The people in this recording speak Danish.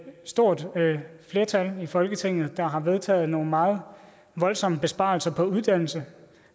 stort flertal i folketinget der har vedtaget nogle meget voldsomme besparelser på uddannelse